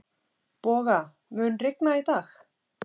Boga, mun rigna í dag?